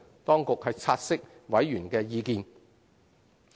當局察悉委員的意見。